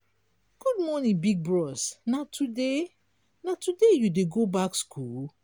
good morning big bros na today na today you dey go back skool?